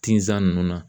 Tinzan nunnu na